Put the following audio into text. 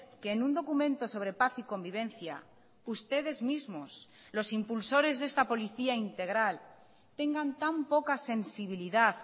que en un documento sobre paz y convivencia ustedes mismos los impulsores de esta policía integral tengan tan poca sensibilidad